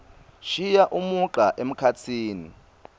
shiya umugca emkhatsini